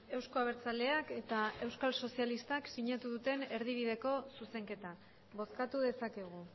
euzko abertzaleak eta euskal sozialistak sinatu duten erdibideko zuzenketa bozkatu dezakegu